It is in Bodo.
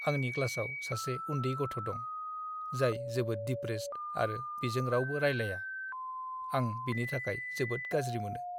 आंनि क्लासाव सासे उन्दै गथ' दं, जाय जोबोद डिप्रेस्ड आरो बिजों रावबो रायलाया। आं बिनि थाखाय जोबोद गाज्रि मोनो।